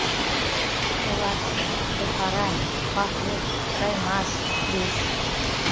олар айпара батур жаймаз күрес